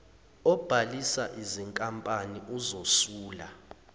obhalisa izinkampani uzosula